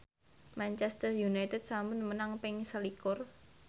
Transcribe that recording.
Manchester united sampun menang ping selikur